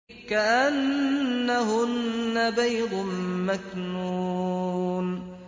كَأَنَّهُنَّ بَيْضٌ مَّكْنُونٌ